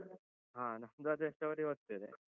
ಹ ನಮ್ದು story ಓದ್ತೇವೆ.